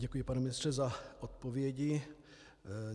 Děkuji, pane ministře, za odpovědi.